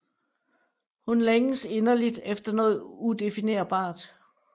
Hun længes inderligt efter noget udefinerbart